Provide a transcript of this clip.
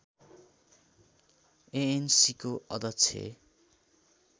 एएनसीको अध्यक्ष